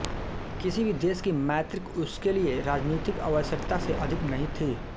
किसी भी देश की मैत्री उसके लिए राजनीतिक आवश्यकता से अधिक नहीं थी